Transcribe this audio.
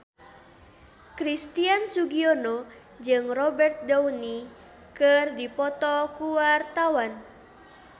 Christian Sugiono jeung Robert Downey keur dipoto ku wartawan